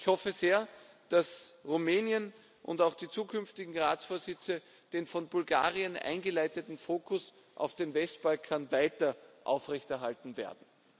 Ich hoffe sehr, dass Rumänien und auch die zukünftigen Ratsvorsitze den von Bulgarien eingeleiteten Fokus auf dem Westbalkan weiter aufrechterhalten werden.